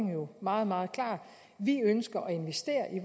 jo meget meget klar vi ønsker at investere i